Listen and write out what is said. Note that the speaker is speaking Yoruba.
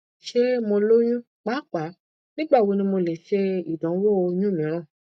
ṣe mo loyun paapaa nigbawo ni mo le ṣe idanwo oyun miiran